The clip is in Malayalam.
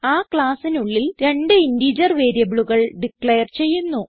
ആ ക്ലാസ്സിനുള്ളിൽ രണ്ട് ഇന്റിജർ വേരിയബിളുകൾ ഡിക്ലയർ ചെയ്യുന്നു